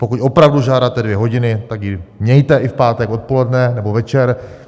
Pokud opravdu žádáte dvě hodiny, tak je mějte i v pátek odpoledne nebo večer.